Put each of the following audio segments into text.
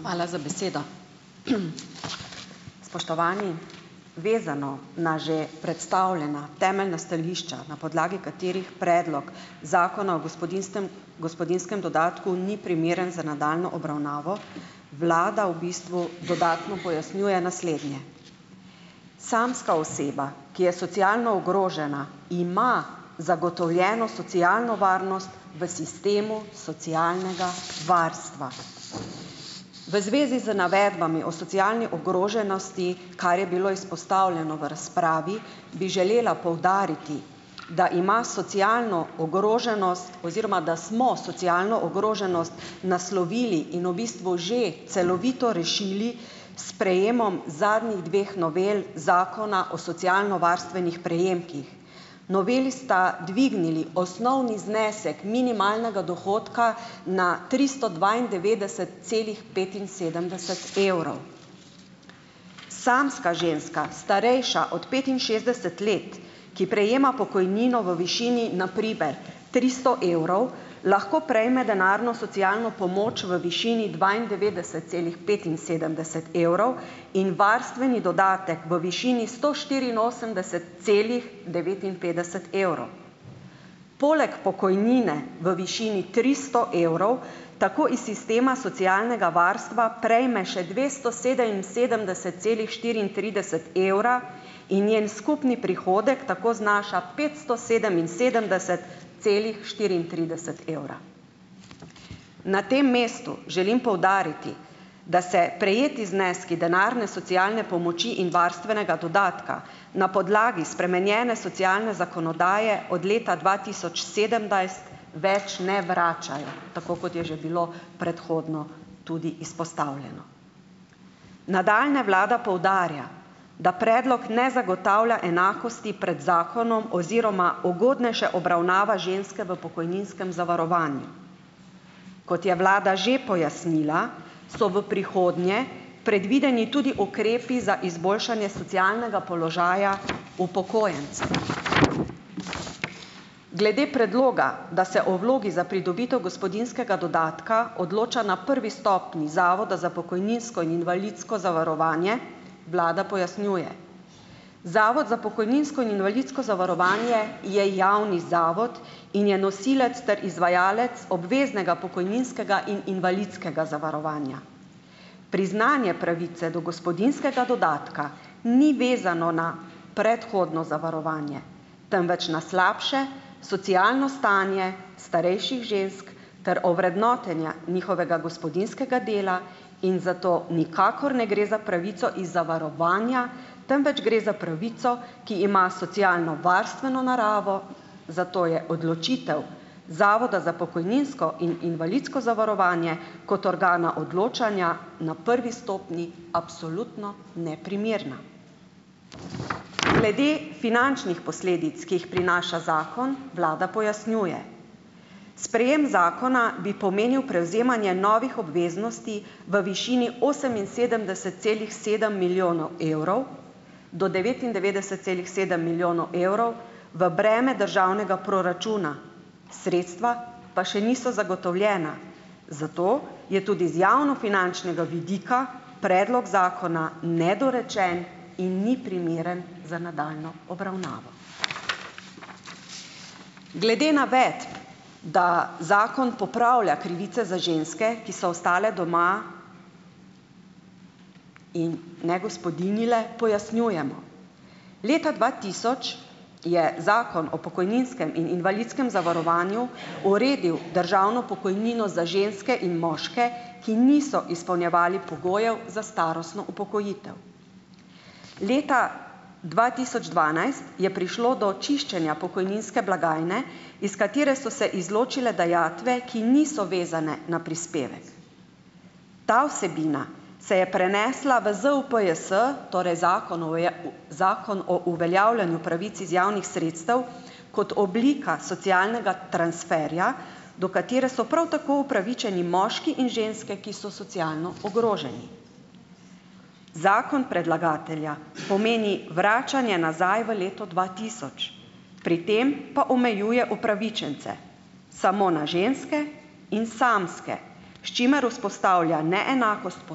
Hvala za besedo. Spoštovani. Vezano na že predstavljena temeljna stališča, na podlagi katerih predlog zakona o gospodinstem gospodinjskem dodatku ni primeren za nadaljnjo obravnavo, Vlada v bistvu dodatno pojasnjuje naslednje. Samska oseba, ki je socialno ogrožena, ima zagotovljeno socialno varnost v sistemu socialnega varstva. V zvezi z navedbami o socialni ogroženosti, kar je bilo izpostavljeno v razpravi, bi želela poudariti, da ima socialno ogroženost oziroma da smo socialno ogroženost naslovili in v bistvu že celovito rešili s sprejemom zadnjih dveh novel zakona o socialnovarstvenih prejemkih. Noveli sta dvignili osnovni znesek minimalnega dohodka na tristo dvaindevetdeset celih petinsedemdeset evrov. Samska ženska, starejša od petinšestdeset let, ki prejema pokojnino v višini na primer tristo evrov, lahko prejme denarno socialno pomoč v višini dvaindevetdeset celih petinsedemdeset evrov in varstveni dodatek v višini sto štiriinosemdeset celih devetinpetdeset evrov. Poleg pokojnine v višini tristo evrov tako iz sistema socialnega varstva prejme še dvesto sedeminsedemdeset celih štiriintrideset evra in njen skupni prihodek tako znaša petsto sedeminsedemdeset celih štiriintrideset evra. Na tem mestu želim poudariti, da se prejeti zneski denarne socialne pomoči in varstvenega dodatka na podlagi spremenjene socialne zakonodaje od leta dva tisoč sedemnajst, več ne vračajo, tako kot je že bilo predhodno tudi izpostavljeno. Nadalje vlada poudarja, da predlog ne zagotavlja enakosti pred zakonom oziroma ugodnejše obravnava ženske v pokojninskem zavarovanju. Kot je vlada že pojasnila, so v prihodnje predvideni tudi ukrepi za izboljšanje socialnega položaja upokojencev. Glede predloga, da se o vlogi za pridobitev gospodinjskega dodatka odloča na prvi stopnji Zavoda za pokojninsko in invalidsko zavarovanje, vlada pojasnjuje. Zavod za pokojninsko in invalidsko zavarovanje je javni zavod in je nosilec ter izvajalec obveznega pokojninskega in invalidskega zavarovanja. Priznanje pravice do gospodinjskega dodatka ni vezano na predhodno zavarovanje, temveč na slabše socialno stanje starejših žensk ter ovrednotenja njihovega gospodinjskega dela in zato nikakor ne gre za pravico iz zavarovanja, temveč gre za pravico, ki ima socialnovarstveno naravo, zato je odločitev Zavoda za pokojninsko in invalidsko zavarovanje kot organa odločanja na prvi stopnji absolutno neprimerna. Glede finančnih posledic, ki jih prinaša zakon, vlada pojasnjuje. Sprejem zakona bi pomenil prevzemanje novih obveznosti v višini oseminsedemdeset celih sedem milijonov evrov do devetindevetdeset celih sedem milijonov evrov v breme državnega proračuna, sredstva pa še niso zagotovljena, zato je tudi z javnofinančnega vidika predlog zakona nedorečen in ni primeren za nadaljnjo obravnavo. Glede navedb, da zakon popravlja krivice za ženske, ki so ostale doma in ne gospodinjile, pojasnjujemo. Leta dva tisoč je zakon o pokojninskem in invalidskem zavarovanju uredil državno pokojnino za ženske in moške, ki niso izpolnjevali pogojev za starostno upokojitev. Leta dva tisoč dvanajst je prišlo do čiščenja pokojninske blagajne, iz katere so se izločile dajatve, ki niso vezane na prispevek. Ta vsebina se je prenesla v ZUPJS, torej zakon o Zakon o uveljavljanju pravic iz javnih sredstev kot oblika socialnega transferja, do katere so prav tako upravičeni moški in ženske, ki so socialno ogroženi. Zakon predlagatelja pomeni vračanje nazaj v leto dva tisoč, pri tem pa omejuje upravičence samo na ženske in samske, s čimer vzpostavlja neenakost po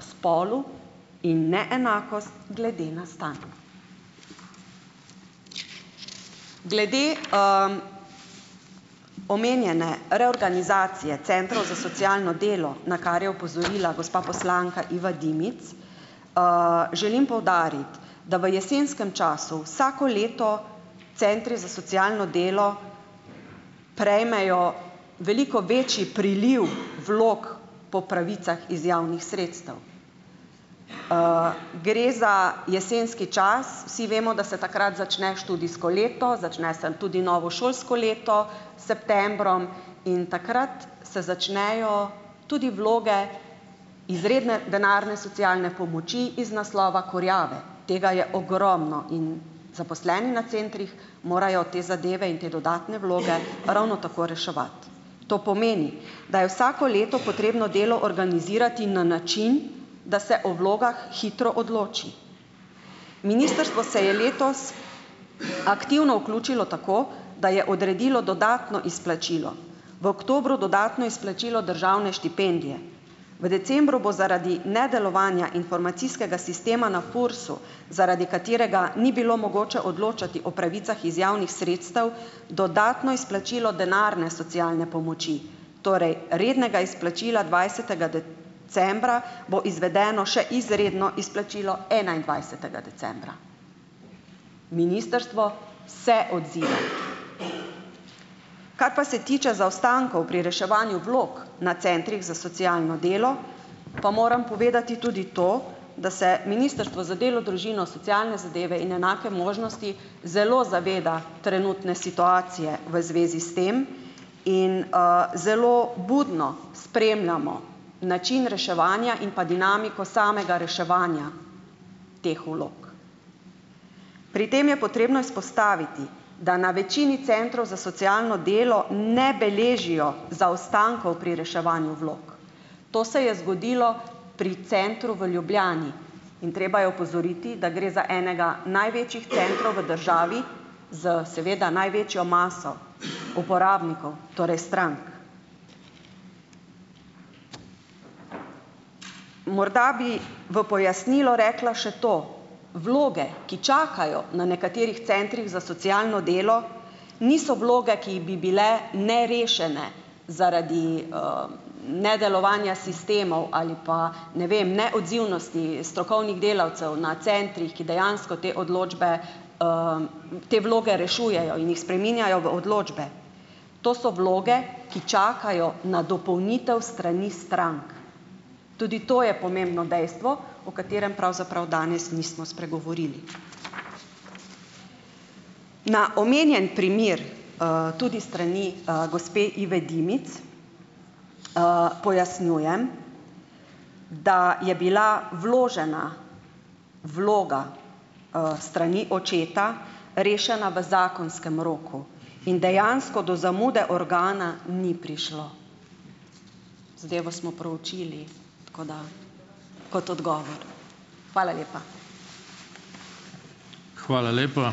spolu in neenakost glede na stanje. Glede omenjene reorganizacije centrov za socialno delo, na kar je opozorila gospa poslanka Iva Dimic, želim poudariti, da v jesenskem času vsako leto centri za socialno delo prejmejo veliko večji priliv vlog po pravicah iz javnih sredstev. gre za jesenski čas, vsi vemo, da se takrat začne študijsko leto, začne se tudi novo šolsko leto s septembrom in takrat se začnejo tudi vloge izredne denarne socialne pomoči iz naslova kurjave. Tega je ogromno in zaposleni na centrih morajo te zadeve in te dodatne vloge ravno tako reševati. To pomeni, da je vsako leto potrebno delo organizirati na način, da se o vlogah hitro odloči. Ministrstvo se je letos aktivno vključilo tako, da je odredilo dodatno izplačilo. V oktobru dodatno izplačilo državne štipendije, v decembru bo zaradi nedelovanja informacijskega sistema na FURS-u, zaradi katerega ni bilo mogoče odločati o pravicah iz javnih sredstev, dodatno izplačilo denarne socialne pomoči, torej rednega izplačila, dvajsetega decembra bo izvedeno še izredno izplačilo enaindvajsetega decembra. Ministrstvo se odziva. Kar pa se tiče zaostankov pri reševanju vlog na centrih za socialno delo, pa moram povedati tudi to, da se ministrstvo za delo, družino, socialne zadeve in enake možnosti zelo zaveda trenutne situacije v zvezi s tem in, zelo budno spremljamo način reševanja in pa dinamiko samega reševanja teh vlog. Pri tem je potrebno izpostaviti, da na večini centrov za socialno delo ne beležijo zaostankov pri reševanju vlog, to se je zgodilo pri centru v Ljubljani. In treba je opozoriti, da gre za enega največjih centrov v državi, s seveda največjo maso uporabnikov, torej strank. Morda bi v pojasnilo rekla še to, vloge, ki čakajo na nekaterih centrih za socialno delo, niso vloge, ki bi bile nerešene zaradi, nedelovanja sistemov ali pa, ne vem, neodzivnosti strokovnih delavcev na centrih, ki dejansko te odločbe, te vloge rešujejo in jih spreminjajo v odločbe. To so vloge, ki čakajo na dopolnitev s strani strank, tudi to je pomembno dejstvo, o katerem pravzaprav danes nismo spregovorili. Na omenjen primer, tudi s strani, gospe Ive Dimic, pojasnjujem, da je bila vložena vloga, s strani očeta rešena v zakonskem roku in dejansko do zamude organa ni prišlo; zadevo smo proučili. Tako da. Kot odgovor. Hvala lepa.